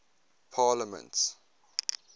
parliaments